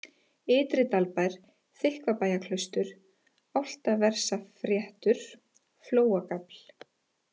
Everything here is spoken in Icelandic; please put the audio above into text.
Ytri-Dalbær, Þykkvabæjarklaustur, Álftaversafréttur, Flóagafl